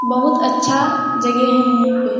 बहुत अच्छा जगह है यहीं पे --